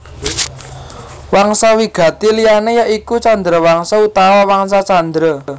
Wangsa wigati liyané ya iku Chandrawangsa utawa Wangsa Candra